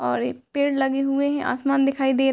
और ये पेड़ लगे हुए है आसमान दिखाई दे र --